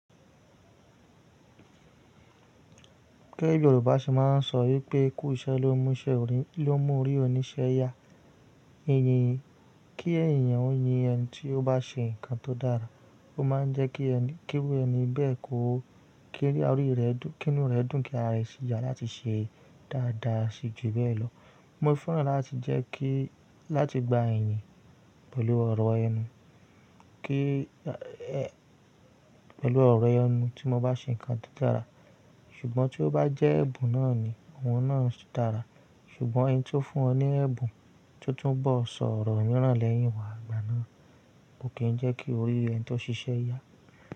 Kẹ́ Yorùbá ṣe máa ń sọ wípé “ikú iṣẹ́ l'omu iṣẹ orí lo mú orí oníṣẹ́ yá”. Eyin kí ènìyàn ó yin ẹni tí ó bá ṣe nǹkan tó dára, ó máa ń jẹ́ kí ewé ẹni bẹ́ẹ̀ kó kí inú rẹ̀ dùn kí ara rẹ̀ sì yà láti ṣe dáadáa sí jù bẹ́ẹ̀ lọ. Mo fẹ́ràn láti jẹ́ kí láti gba ẹ̀yìn pẹ̀lú ọ̀rọ̀ ẹnu tí mo bá ṣe nǹkan tó dára. Ṣùgbọ́n tí ó bá jẹ́ ẹ̀bùn náà ni, òun náà dára. Ṣùgbọ́n ẹni tí ó fún ọ ní ẹ̀bùn tí ó tún bọ̀ sọ̀rọ̀ mìíràn lẹ́yìn ìwà àgbà náà kò kì í jẹ́ kí orí ẹni tó ṣiṣẹ́ yá.